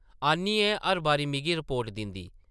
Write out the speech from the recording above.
आनियै हर बारी मिगी रिपोर्ट दिंदी ।